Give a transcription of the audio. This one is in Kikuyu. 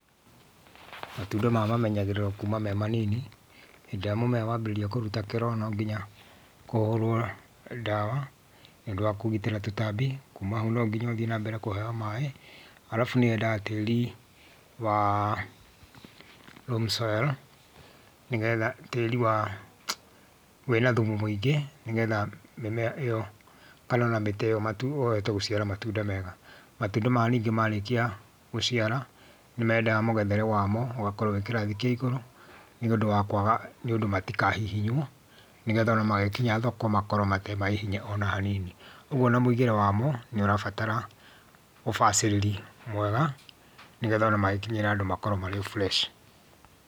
Matunda maya mamenyagĩrĩrũo kuma me manini, hĩndĩ ĩrĩa mũmera wambĩrĩria kũruta kĩro no ngĩnya, ũhũrũo, ndawa, nĩũndũ wa kũgitĩra tũtambi. Kuma hau no nginya ũthiĩ na mbere kũheo maĩ, arabu nĩwendaga tĩri waa loam soil, nĩgetha tĩri waa, wĩna thumu mũingĩ, nĩgetha mĩmera ĩyo, kana ona mĩti ĩyo matu ũhote gũciara matunda mega. Matunda maya ningĩ marĩkia, gũciara, nĩmendaga mũgethere wamo, ũgakorwo wĩ kĩrathi kĩa igũrũ, nĩ ũndũ wa kwaga, nĩũndũ matikahihinywo, nĩgetha ona magĩkinya thoko makorwo matarĩ mahihinye ona hanini. Ũguo ona mũigĩre wamo, nĩũrabatara ũbacĩrĩri mwega, nĩgetha ona magĩkinyĩra andũ makorwo marĩ o fresh.